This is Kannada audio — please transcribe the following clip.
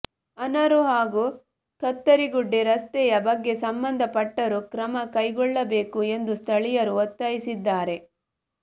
ಅನಾರು ಹಾಗೂ ಕತ್ತರಿಗುಡ್ಡೆ ರಸ್ತೆಯ ಬಗ್ಗೆ ಸಂಬಂಧಪಟ್ಟರು ಕ್ರಮಕೈಗೊಳ್ಳಬೇಕು ಎಂದು ಸ್ಥಳೀಯರು ಒತ್ತಾಯಿಸಿದ್ದಾರೆ